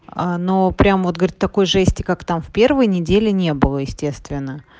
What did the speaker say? а ну прямо вот говорит такой жести как там в первые недели не было естественно